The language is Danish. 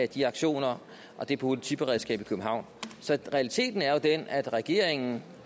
de aktioner og det politiberedskab i københavn så realiteten er jo den at regeringen